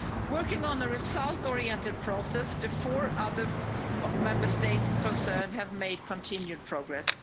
Working on the result-oriented process, the four other Member States concerned have made continued progress.